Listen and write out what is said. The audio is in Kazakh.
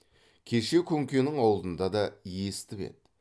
кеше күнкенің аулында да есітіп еді